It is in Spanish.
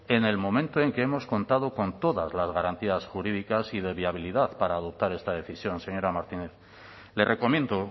en el momento en que hemos contado con todas las garantías jurídicas y de viabilidad para adoptar esta decisión señora martínez le recomiendo